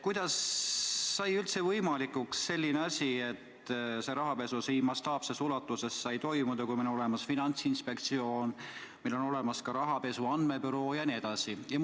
Kuidas sai üldse võimalikuks selline asi, et see rahapesu nii mastaapses ulatuses sai toimuda, kui meil on olemas Finantsinspektsioon, kui meil on olemas rahapesu andmebüroo jne?